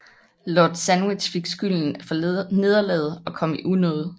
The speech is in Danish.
Lord Sandwich fik skylden for nederlaget og kom i unåde